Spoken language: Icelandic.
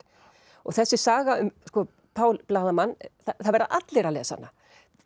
og þessi saga um Pál blaðamann það verða allir að lesa hana